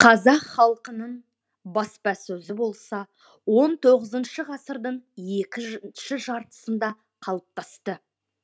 қазақ халқының баспасөзі болса он тоғызыншы ғасырдың екінші жартысында қалыптасты